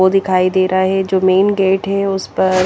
वो दिखाई दे रहा है जो मैंन गेट है उस पर--